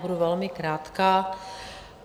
Budu velmi krátká.